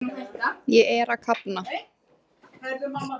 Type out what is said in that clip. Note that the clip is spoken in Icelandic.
Ég er að kafna.